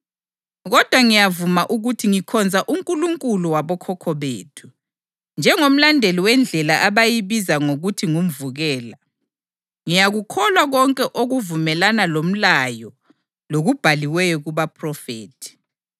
Kodwa ngiyavuma ukuthi ngikhonza uNkulunkulu wabokhokho bethu, njengomlandeli weNdlela abayibiza ngokuthi ngumvukela. Ngiyakukholwa konke okuvumelana loMlayo lokubhaliweyo kubaphrofethi,